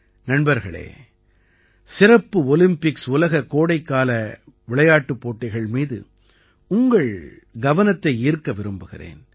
நண்பர்களே சிறப்பு ஒலிம்பிக்ஸ் உலக கோடைக்கால விளையாட்டுப் போட்டிகள் மீது உங்கள் கவனத்தை ஈர்க்க விரும்புகிறேன்